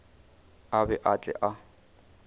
a be a tle a